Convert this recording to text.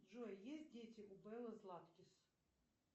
джой есть дети у беллы златкис